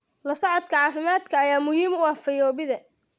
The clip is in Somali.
La socodka caafimaadka ayaa muhiim u ah fayoobida.